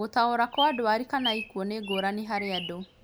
Gũtaũra kwa ndwari kana ikuũ nĩ ngũrani harĩ andũ